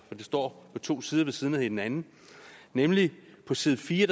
står på to sider ved siden af hinanden nemlig på side fire